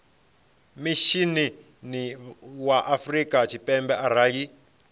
mishinini wa afrika tshipembe arali